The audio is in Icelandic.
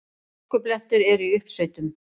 Hálkublettir eru í uppsveitum